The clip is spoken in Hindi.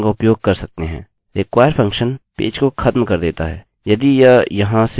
require फंक्शन पेज को खत्म कर देता है यदि यह यहाँ से आगे नहीं मिलता है